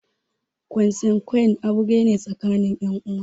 Konsanguine aure ne tsakanin ƴan uwa